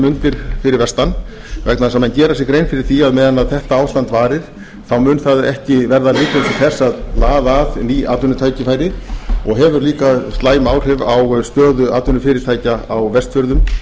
mundir fyrir vestan vegna þess að menn gera sér grein fyrir því að á meðan þetta ástand varir þá mun það ekki verða lykill til þess að laða að ný atvinnutækifæri og hefur líka slæm áhrif á stöðu atvinnufyrirtækja á vestfjörðum